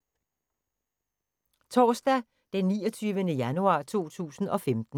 Torsdag d. 29. januar 2015